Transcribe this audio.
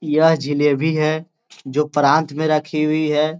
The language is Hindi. यह जिलेबी है जो प्रांत में रखी हुई है।